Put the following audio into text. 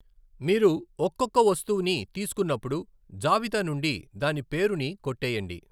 మీరు ఒక్కఒక్క వస్తువుని తీసుకున్నప్పుడు, జాబితా నుండి దాని పేరుని కొట్టేయండి.